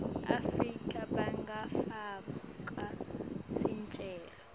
afrika bangafaka sicelo